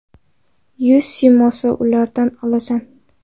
Yuz siymosini ulardan olasan.